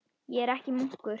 Ég er ekki munkur.